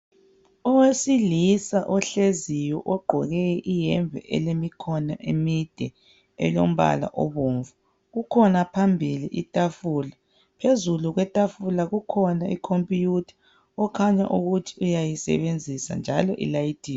Owesilisa ohleziyo ogqqoke iyembe elemikhono emide elombala obomvu kukhona phambili itafula phezulu kwetafula kukhona computer okhanya ukuthi uyasebenzisa njalo ilayithiwe